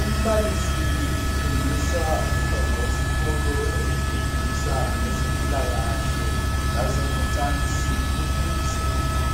Umbalisi utshengisa umntwana wesikolo emfundisa ngezempilakahle lazengocansi ukuze